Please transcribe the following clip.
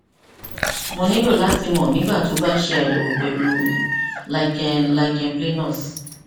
mo nilo lati mọ nigbati o ba ṣe ayẹwo pẹlu lichen lichen planus